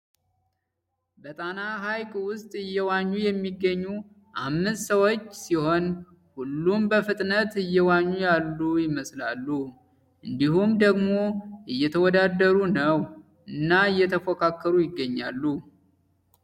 በጣና ሐይቅ ውስጥ እየዋኙ የሚገኙ አምስት ሰዎች ሲሆን ሁሉም በፍጥነት እየዋኙ ያሉ ይመስላሉ ። እንዲሁም ደግሞ እየተወዳደሩ ነው እና እየተፎካከሩ ይገኛሉ።